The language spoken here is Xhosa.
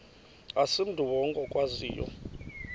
asimntu wonke okwaziyo